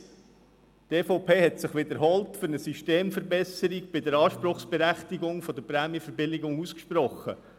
Die EVP hat sich wiederholt für eine Systemverbesserung bei der Anspruchsberechtigung für Prämienverbilligungen ausgesprochen.